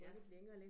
Ja